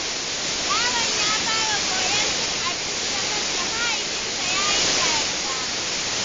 Yaron ya fara koyon cin abinci da kansa, mahaifinsa ya yi dariya.